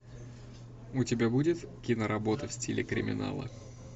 у тебя будет киноработа в стиле криминала